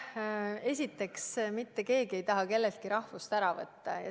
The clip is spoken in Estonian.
Esiteks, mitte keegi ei taha kelleltki tema rahvust ära võtta.